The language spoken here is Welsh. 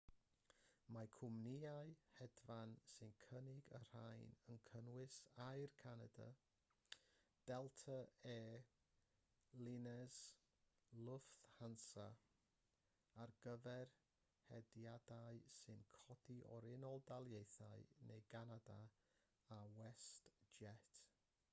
mae cwmnïau hedfan sy'n cynnig y rhain yn cynnwys air canada delta air lines lufthansa ar gyfer hediadau sy'n codi o'r unol daleithiau neu ganada a westjet